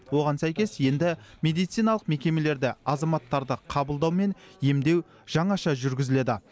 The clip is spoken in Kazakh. оған сәйкес енді медициналық мекемелерде азаматтарды қабылдау мен емдеу жаңаша жүргізіледі